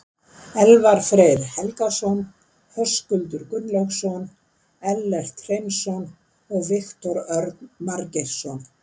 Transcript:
Elfar Freyr Helgason, Höskuldur Gunnlaugsson, Ellert Hreinsson og Viktor Örn Margeirsson.